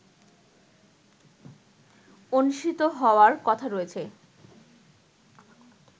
অনুষ্ঠিত হওয়ার কথা রয়েছে